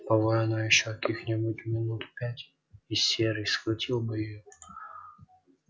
повой она ещё каких-нибудь минут пять и серый схватил бы её